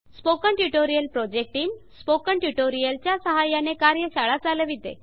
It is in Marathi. spoken tutorial project team spoken tutorial च्या सहाय्याने कार्यशाळा चालविते